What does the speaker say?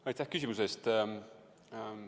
Aitäh küsimuse eest!